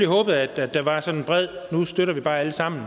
håbet at der var sådan en bred nu støtter vi bare alle sammen